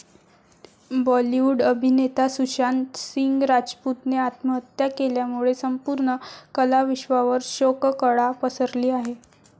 बॉलीवूड अभिनेता सुशांत सिंग राजपूतने आत्महत्या केल्यामुळे संपूर्ण कलाविश्वावर शोककळा पसरली आहे.